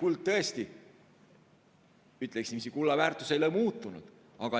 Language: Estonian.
Tõesti, ütleksin, et kulla väärtus ei ole muutunud, aga